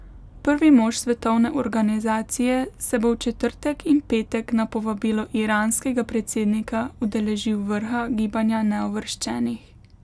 Prvi mož svetovne organizacije se bo v četrtek in petek na povabilo iranskega predsednika udeležil vrha Gibanja neuvrščenih.